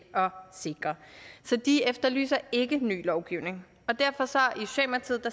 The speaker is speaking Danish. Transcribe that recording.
sikre så de efterlyser ikke ny lovgivning og derfor